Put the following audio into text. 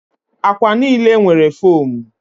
Akwa niile nwere fomu